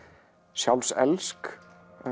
sjálfselsk